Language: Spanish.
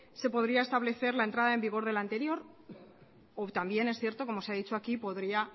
se podría establecer la entrada en vigor del anterior o también es cierto como se ha dicho aquí podría